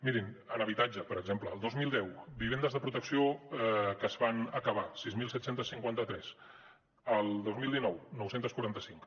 mirin en habitatge per exemple el dos mil deu vivendes de protecció que es van acabar sis mil set cents i cinquanta tres el dos mil dinou nou cents i quaranta cinc